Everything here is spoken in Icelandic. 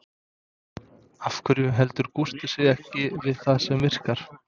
Af hverju heldur Gústi sig ekki við það sem virkar?